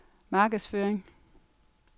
markedsføring